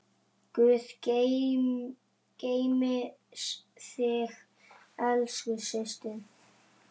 Guð geymi þig, elsku systir.